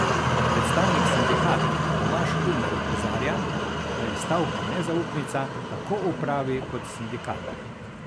Predstavnik sindikata Tomaž Kumer opozarja, da je stavka nezaupnica tako upravi kot sindikatom.